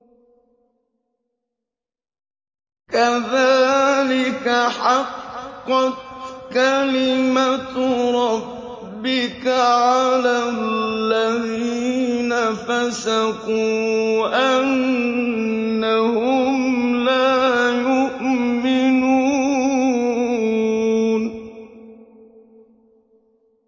كَذَٰلِكَ حَقَّتْ كَلِمَتُ رَبِّكَ عَلَى الَّذِينَ فَسَقُوا أَنَّهُمْ لَا يُؤْمِنُونَ